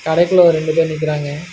கடைக்குள்ள ஒரு ரெண்டு பேர் நிக்றாங்க.